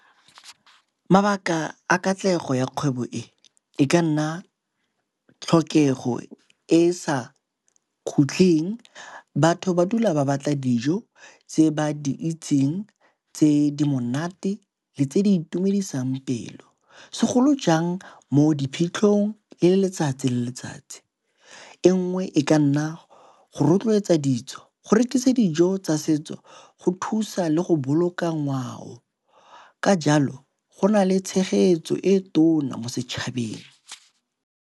Mabaka a katlego ya kgwebo e e ka nna tlhokego e e sa khutling. Batho ba dula ba batla dijo tse ba di itseng tse di monate le tse di itumedisang pelo, segolo jang mo diphitlhong le letsatsi le letsatsi. E nngwe e ka nna go rotloetsa ditso, go rekisa dijo tsa setso, go thusa le go boloka ngwao ka jalo go na le tshegetso e tona mo setšhabeng.